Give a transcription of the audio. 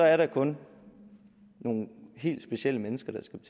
er det kun nogle helt specielle mennesker der skal